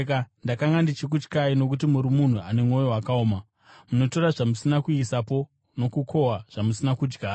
Ndakanga ndichikutyai, nokuti muri munhu ane mwoyo wakaoma. Munotora zvamusina kuisapo nokukohwa zvamusina kudyara.’